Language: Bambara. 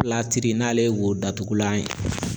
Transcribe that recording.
n'ale ye wo datugulan ye.